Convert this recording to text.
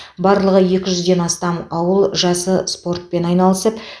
барлығы екі жүзден астам ауыл жасы спортпен айналысып